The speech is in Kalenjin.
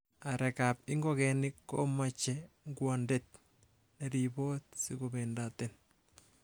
Areek ab ingogenik komoche ngwondet neribot sikobendaten.